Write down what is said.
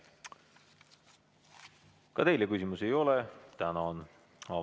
Ka teile küsimusi ei ole, tänan!